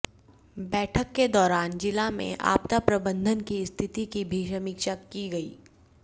बैठक के दौरान जिला में आपदा प्रबंधन की स्थिति की भी समीक्षा की गई